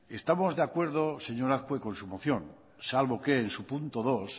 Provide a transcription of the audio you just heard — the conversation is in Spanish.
estamos de acuerdo señor azkue con su moción salvo que en su punto dos